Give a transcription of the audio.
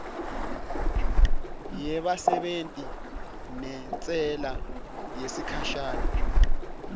yebasebenti nentsela yesikhashana